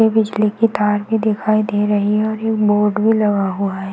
ये बिजली की तार भी दिखाई दे रही है और ये बोर्ड भी लगा हुआ है।